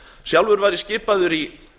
sjálfur var ég skipaður í